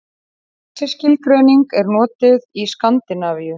Þessi skilgreining er notuð í Skandinavíu.